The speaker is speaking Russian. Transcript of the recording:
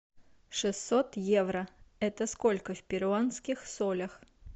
шестьсот евро это сколько в перуанских солях